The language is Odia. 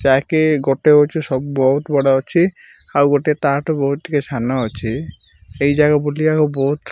ଯାହା କି ଗୋଟେ ହେଉଛି ସବ ବହୁତ ବଡ ଅଛି ଆଉ ତାଠୁ ବହୁତ ଟିକେ ସାନ ଅଛି ସେହି ଜାଗା ଭୁଲି ବାକୁ ବହୁତ --